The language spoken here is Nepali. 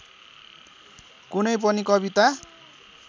कुनै पनि कविता